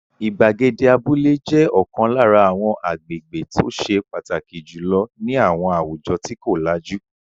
Ìgbàgede abúlé jẹ́ ọ̀kan lára àwọn agbègbè tó ṣe pàtàkì jù lọ ní àwọn àwùjọ tí kò lajú.